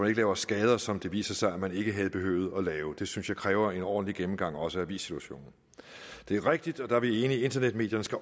ikke laver skader som det viser sig man ikke havde behøvet at lave det synes jeg kræver en ordentlig gennemgang også af avissituationen det er rigtigt og der er vi enige at internetmedierne